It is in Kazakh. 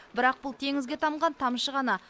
бірақ бұл теңізге тамған тамшы ғана